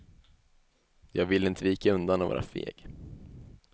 Jag vill inte vika undan och vara feg.